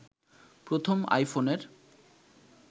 প্রথম আইফোনের